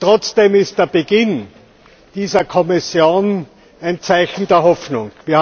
Trotzdem ist der Beginn dieser Kommission ein Zeichen der Hoffnung.